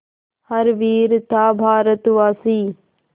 हर वीर था भारतवासी